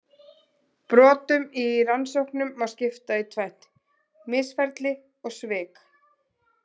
Brotum í rannsóknum má skipta í tvennt: misferli og svik.